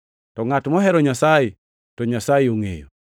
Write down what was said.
To ngʼat mohero Nyasaye, to Nyasaye ongʼeyo.